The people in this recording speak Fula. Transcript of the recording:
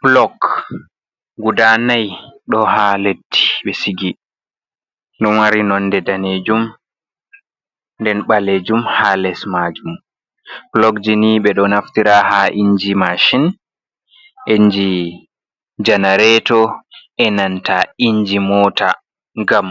"pulok" guda nai ɗo ha leddi ɓe sigi ɗo mari nonde danejum nden ɓalejum ha les majum pulokjini ɓeɗo naftira ha inji mashin inji janareto enanta inji mota ngam